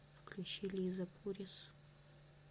включи лиза пурис